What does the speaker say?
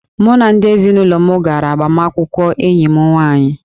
Mụ na ndị ezinụlọ m gara agbamakwụkwọ enyi m nwaanyị